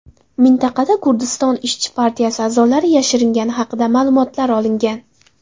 Mintaqada Kurdiston ishchi partiyasi a’zolari yashiringani haqida ma’lumotlar olingan.